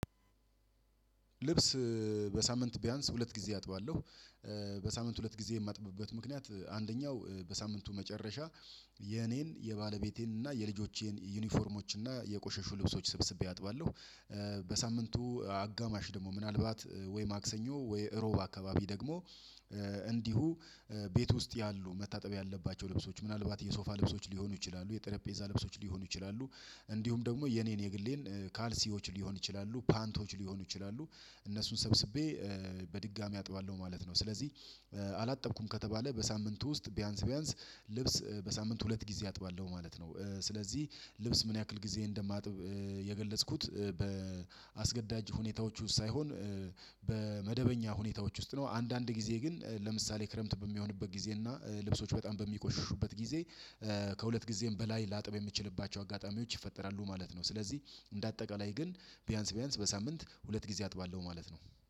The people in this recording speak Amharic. ልብስ በሳምንት ቢያንስ ሁለት ጊዜ አጥባለሁ። በሳምንት ሁለት ጊዜ የማጥብበት ምክንያት አንደኛው በሳምንቱ መጨረሻ የኔን የባለቤቴን እና የልጆቼን ዩኒፎርሞች እና የቆሸሹ ልብሶች ስብስቤ አጥባለሁ። በሳምንቱ አጋማሽ ደግሞ ምናልባት ወይ ማክሰኞ ወይ እሮብ አካባቢ ደግሞ እንዲሁ ቤት ውስጥ ያሉ መታጠብ ያለባቸው ልብሶች ምናልባት የሶፋ ልብሶች ሊሆኑ ይችላሉ የጠረጴዛ ልብሶች ሊሆኑ ይችላሉ። እንዲሁም ደግሞ የኔን የግሌን ካልሲዎች ሊሆን ይችላሉ ፓንቶች ሊሆኑ ይችላሉ እነሱን ሰብስቤ በድጋሚ አጥባለሁ ማለት ነው። ስለዚህ አላጠብኩም ከተባለ በሳምንቱ ውስጥ ቢያንስ ቢያንስ ልብስ በሳምንት ሁለት ጊዜ አጥባለሁ ማለት ነው። ስለዚህ ልብስ ምን ያክል ጊዜ እንደማጥብ የገለጽኩት በአስገዳጅ ሁኔታዎች ውስጥ ሳይሆን በመደበኛ ሁኔታዎች ውስጥ ነው። አንዳንድ ጊዜ ግን ለምሳሌ ክረምት በሚሆንበት ጊዜ እና ልብሶች በጣም በሚቆሽሹበት ጊዜ ከሁለት ጊዜም በላይ ላጥብ የምችልባቸው አጋጣሚዎች ይፈጠራሉ ማለት ነው። ስለዚህ እንደ አጠቃላይ ግን ቢያንስ ቢያንስ በሳምንት ሁለት ጊዜ አጥባለሁ ማለት ነው።